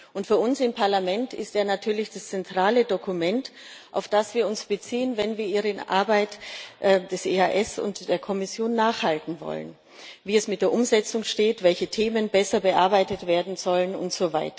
Und für uns im Parlament ist er natürlich das zentrale Dokument, auf das wir uns beziehen, wenn wir Ihre Arbeit, die des EAS und die der Kommission nachhalten wollen, wie es mit der Umsetzung steht, welche Themen besser bearbeitet werden sollen usw.